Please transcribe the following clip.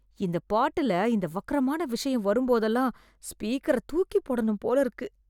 இந்த பாட்டுல இந்த வக்ரமான விஷயம் வரும் போதுலாம் ஸ்பீக்கரை தூக்கிப்போடனும் போலிருக்கு